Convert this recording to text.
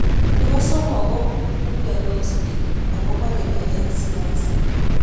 nebo somok, ko umiansot biik ago bargei eng siaset